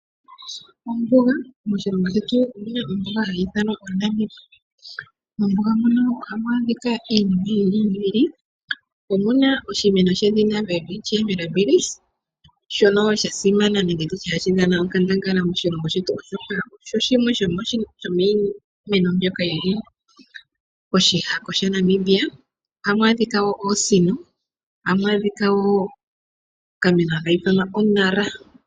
Ombuga. Moshilongo shetu omu na ombuga hayi ithanwa Namib. Moshilongo shetu ohamu adhika iinima yi ili noyi ili. Omu na oshimeno shedhina Welwitchia Mirabillis, shono sha simana nohashi dhana onkandangala moshilongo shetu, oshoka oshi shmwe shomiimeno mbyoka yi li koshihako shaNamibia. Ohamu adhika wo oosino, ohamu adhika wo okameno haka ithanwa !Nara.